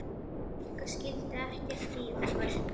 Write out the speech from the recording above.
Sigga skildi ekkert í okkur.